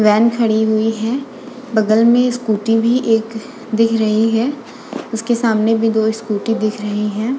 Van खड़ी हुई है। बगल में स्कूटी भी एक दिख रही है। उसके सामने भी दो स्कूटी दिख रही हैं।